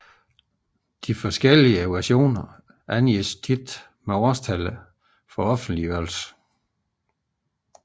De forskellige versioner angives ofte med årstallet for offentliggørelse